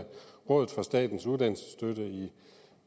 rådet for statens uddannelsesstøtte i